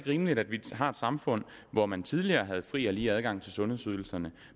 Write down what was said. rimeligt at vi har et samfund hvor man tidligere havde fri og lige adgang til sundhedsydelserne